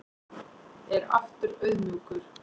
Er aftur auðmjúkur